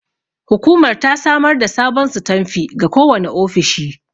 Hukumar ta samar da sabon sitanfi ga kowane ofishi.